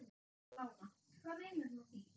Lára: Hvað meinarðu með því?